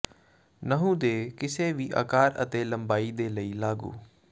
ਨਹੁੰ ਦੇ ਕਿਸੇ ਵੀ ਆਕਾਰ ਅਤੇ ਲੰਬਾਈ ਦੇ ਲਈ ਲਾਗੂ